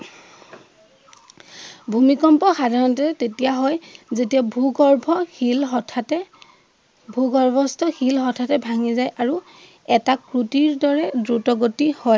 ভূমিকম্প সাধাৰণতে তেতিয়া হয় যেতিয়া ভূ-গৰ্ভ শিল হঠাৎতে ভূ-গৰ্ভস্থ শিল হঠাৎতে ভাঙি যায় আৰু এটা সুটিৰ দ্বৰে দ্ৰুত গতিত হয়।